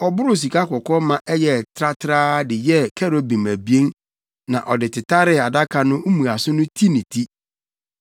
Ɔboroo sikakɔkɔɔ ma ɛyɛɛ tratraa de yɛɛ kerubim abien na ɔde tetaree adaka no mmuaso no ti ne ti.